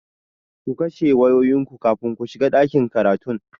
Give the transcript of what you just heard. Ku kashe wayoyinku kafin ku shiga ɗakin karatun!